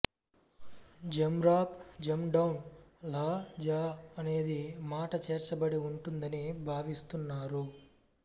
జంరాక్ జండౌన్ లా జ అనేది మాట చేర్చబడి ఉంటుందని భావిస్తున్నారు